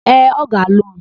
Ee, ọ ga-alụ m.